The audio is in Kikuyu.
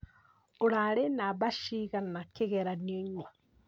Ũrarĩ namba cigana kĩgeranio-inĩ?